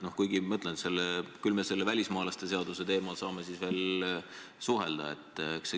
Kuigi jah, välismaalaste seaduse teemal me saame veel suhelda.